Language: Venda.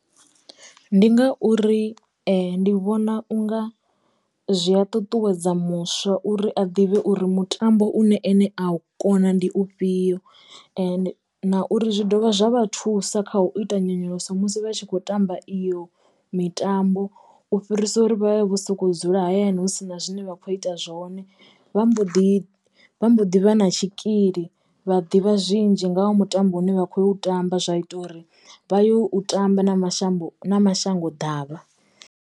Ndi ngauri ndi vhona unga zwi ya ṱutuwedza muswa uri a ḓivhe uri mutambo une ene a u kona ndi u fhio na uri zwi dovha zwa vha thusa kha u ita nyonyoloso musi vha tshi kho tamba iyo mitambo u fhirisa uri vha vhe vho soko dzula hayani hu sina zwine vha kho ita zwone vha mbo ḓi vha mbo ḓi vha na tshikili vha ḓivha zwinzhi nga ha mutambo une vha khou tamba zwa ita uri vha yo u tamba na mashambu na mashango ḓavha.